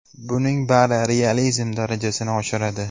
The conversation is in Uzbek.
Buning bari realizm darajasini oshiradi.